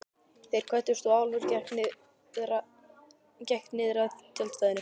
Þeir kvöddust og Álfur gekk niðrað tjaldstæðinu.